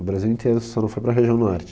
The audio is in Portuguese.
O Brasil inteiro só não foi para a região norte.